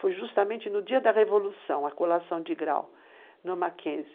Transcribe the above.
Foi justamente no dia da Revolução, a colação de grau, no Mackenzie.